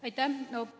Aitäh!